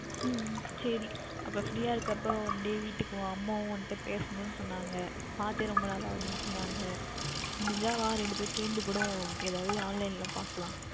உம் சரி அப்பொழுது Free யாக இருக்கின்றபொழுது வீட்டிற்கு வா அம்மாவும் உன்னிடம் பேசவேண்டும் என்று சொன்னார்கள் பார்த்தே ரொம்ப நாள் ஆகின்றது என்று சொன்னார்கள் முடிந்தால் வா இரண்டு பேறும் சேர்ந்து கூட Online யில் பார்க்கலாம்